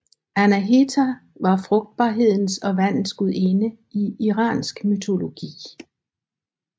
Anahita var frugtbarhedens og vandets gudinde i iransk mytologi